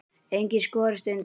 Enginn skorist undan.